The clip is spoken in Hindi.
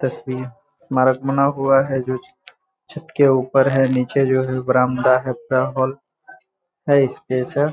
तस्वीर स्मारक बना हुआ है जो छत के ऊपर है नीचे जो है बरामदा है है इपेसन है